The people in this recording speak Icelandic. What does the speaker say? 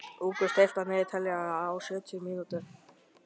Ingrún, stilltu niðurteljara á sjötíu mínútur.